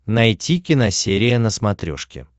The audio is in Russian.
найти киносерия на смотрешке